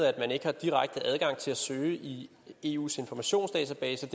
at man ikke har direkte adgang til at søge i eus informationsdatabase